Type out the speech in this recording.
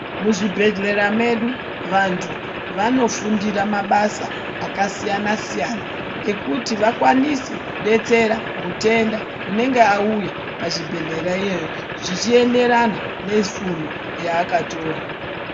Muzvibhedhlera mwedu vantu vanofundire mabasa akasiyana siyana ekuti vakwanise kudetsera mutenda unenge auya pachibhedhlera iyoyo zvichienderana nefundo yakatora.